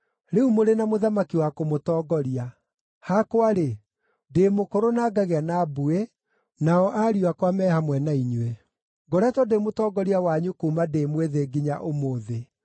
Rĩu mũrĩ na mũthamaki wa kũmũtongoria. Hakwa-rĩ, ndĩ mũkũrũ na ngagĩa na mbuĩ, nao ariũ akwa me hamwe na inyuĩ. Ngoretwo ndĩ mũtongoria wanyu kuuma ndĩ mwĩthĩ nginya ũmũthĩ.